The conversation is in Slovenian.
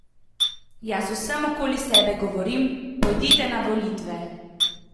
Jaz vsem okoli sebe govorim: "Pojdite na volitve.